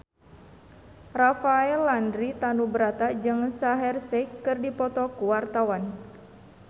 Rafael Landry Tanubrata jeung Shaheer Sheikh keur dipoto ku wartawan